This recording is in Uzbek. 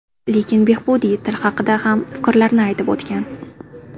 Lekin Behbudiy til haqida ham fikrlarini aytib o‘tgan.